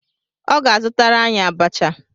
Ọ ga-azụtara anyị abacha.